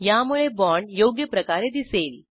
यामुळे बाँड योग्य प्रकारे दिसेल